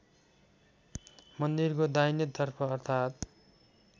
मन्दिरको दाहिनेतर्फ अर्थात्